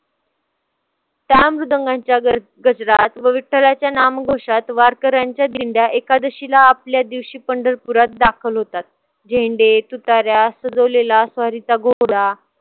सामृदुंगांच्या गजरात व विठ्ठलाच्या नामघोषात वारकऱ्यांच्या दिंडया एकादशीला आपल्या दिवशी पंढरपुरात दाखल होतात. झेंडे, तुताऱ्या सजवलेला स्वारीचा घोडा